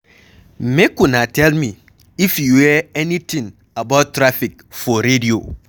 Make una tell me if you hear anything about traffic for radio?